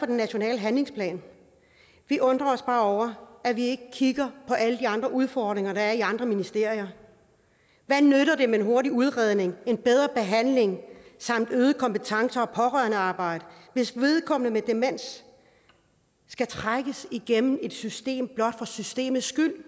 den nationale handlingsplan vi undrer os bare over at vi ikke kigger på alle de andre udfordringer der er i andre ministerier hvad nytter det med en hurtig udredning en bedre behandling samt øget kompetence og pårørendearbejde hvis vedkommende med demens skal trækkes igennem et system blot for systemets skyld